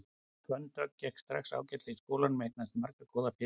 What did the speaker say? Fönn Dögg gekk strax ágætlega í skólanum og eignaðist marga góða félaga.